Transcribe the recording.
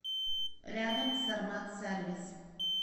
рядом сармат сервис